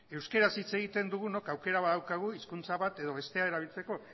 euskaraz hitz egiten dugunok aukera badaukagu hizkuntza bat edo bestea erabiltzeko